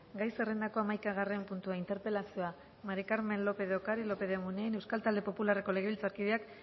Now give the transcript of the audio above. gai zerrendako hamaikagarren puntua interpelazioa mari carmen lópez de ocariz lópez de munain euskal talde popularreko legebiltzarkideak